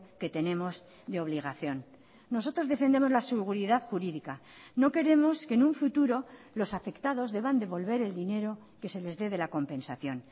que tenemos de obligación nosotros defendemos la seguridad jurídica no queremos que en un futuro los afectados deban devolver el dinero que se les dé de la compensación